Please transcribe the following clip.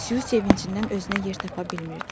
Su sevincindən özünə yer tapa bilmirdi.